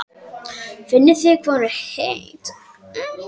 Finnið þið hvað hún er heit?